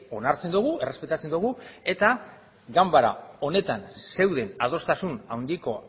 onartzen dugu errespetatzen dugu eta ganbara honetan zeuden adostasun handiko